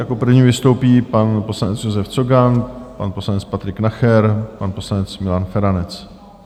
Jako první vystoupí pan poslanec Josef Cogan, pan poslanec Patrik Nacher, pan poslanec Milan Feranec.